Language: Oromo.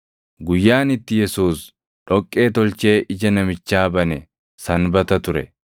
Guyyaan itti Yesuus dhoqqee tolchee ija namichaa bane Sanbata ture.